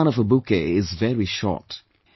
And the life span of a bouquet is very short